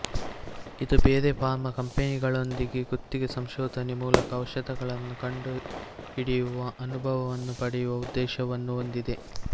ಇದು ಬೇರೆ ಫಾರ್ಮಾ ಕಂಪನಿಗಳೊಂದಿಗೆ ಗುತ್ತಿಗೆ ಸಂಶೋಧನೆ ಮೂಲಕ ಔಷಧಗಳನ್ನು ಕಂಡುಹಿಡಿಯುವ ಅನುಭವವನ್ನು ಪಡೆಯುವ ಉದ್ದೇಶವನ್ನು ಹೊಂದಿದೆ